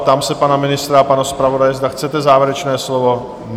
Ptám se pana ministra a pana zpravodaje, zda chcete závěrečné slovo?